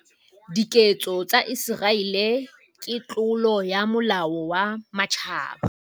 Diketso tsa Iseraele ke tlolo ya molao wa Matjhaba.